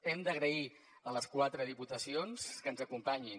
hem d’agrair a les quatre diputacions que ens hi acompanyin